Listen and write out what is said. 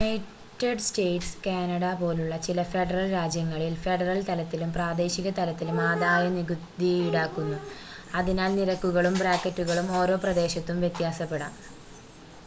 United States Canada പോലുള്ള ചില federal രാജ്യങ്ങളിൽ ഫെഡറൽ തലത്തിലും പ്രാദേശിക തലത്തിലും ആദായനികുതി ഈടാക്കുന്നു അതിനാൽ നിരക്കുകളും ബ്രാക്കറ്റുകളും ഓരോ പ്രദേശത്തും വ്യത്യാസപ്പെടാം